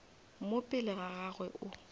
mo pele ga gagwe o